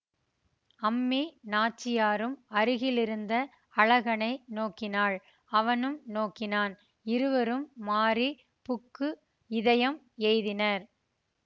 அம்மி நாச்சியாரும் அருகிலிருந்த அழகனை நோக்கினாள் அவனும் நோக்கினான் இருவரும் மாறி புக்கு இதயம் எய்தினார்